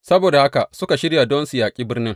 Saboda haka suka shirya don su yaƙi birnin.